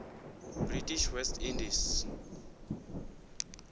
british west indies